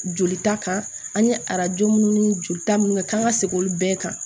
Jolita kan an ye arajo minnu ni joli ta minnu kɛ kan ka segin olu bɛɛ kan